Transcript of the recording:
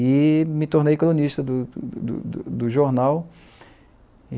E me tornei cronista do do do do do jornal.